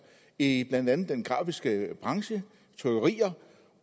i blandt andet den grafiske branche